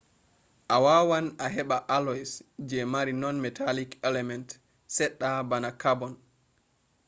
a wawan a heɓa alloys je mari non-metallic element seɗɗa bana karbon